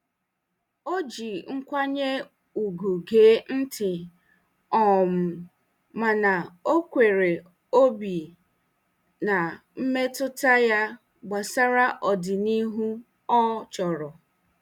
Ọ ji nkwanye ùgwù gee ntị um mana o kwere obi na mmetụta ya gbasara ọdịnihu ọ chọrọ.